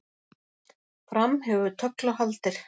Fram hefur tögl og haldir